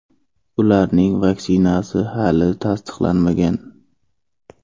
Ularning vaksinasi hali tasdiqlanmagan.